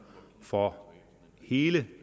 for hele